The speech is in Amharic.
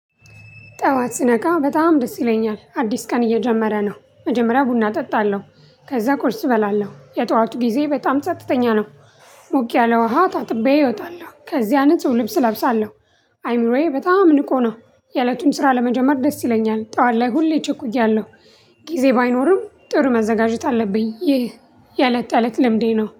ጠዋት ስነቃ በጣም ደስ ይለኛል አዲስ ቀን እየጀመረ ነው መጀመሪያ ቡና እጠጣለሁ ከዛ ቁርስ እበላለሁ የጠዋቱ ጊዜ በጣም ጸጥተኛ ነው። ሞቅ ያለ ውሃ ታጥቤ እወጣለሁ ከዚያን ልብስ እለብሳለሁ። አይምሮዬ በጣም ንቆ ነው የእለቱን ስራ ለመጀመር ደስ ይለኛል። ጠዋት ላይ ሁሌ እቸኩያለሁ። ጊዜ ባይኖርም ጥሩ መዘጋጀት አለብኝ። ይህ የእለት የእለት ልምዴ ነው